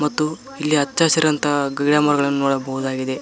ಮತ್ತು ಇಲ್ಲಿ ಹಚ್ಚ ಹಸಿರಂತಹ ಗಿಡ ಮರಗಳನ್ನು ನೋಡಬಹುದಾಗಿದೆ.